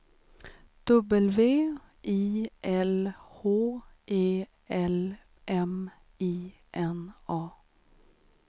W I L H E L M I N A